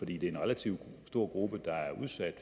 det er en relativt stor gruppe der er udsat